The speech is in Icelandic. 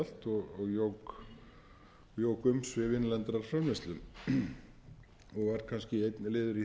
og jók umsvif innlendrar framleiðslu og var kannski einn liður í því að